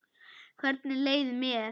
Hvernig leið mér?